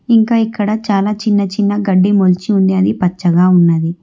ఇంకా ఇక్కడ చాలా చిన్నచిన్న గడ్డి మొలచి ఉంది అది పచ్చగా ఉన్నది.